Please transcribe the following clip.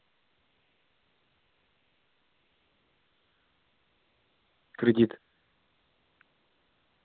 кредит